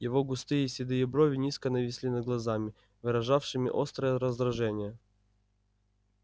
его густые седые брови низко нависли над глазами выражавшими острое раздражение